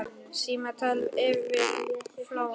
Símtal yfir flóann